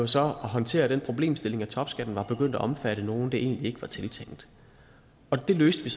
så at håndtere den problemstilling at topskatten var begyndt at omfatte nogle som det egentlig var tiltænkt og det løste